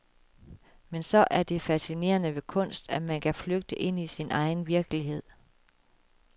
Men så er det fascinerende ved kunst, at man kan flygte ind i sin egen virkelighed.